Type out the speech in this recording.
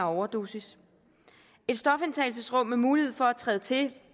overdosis et stofindtagelsesrum med mulighed for at træde til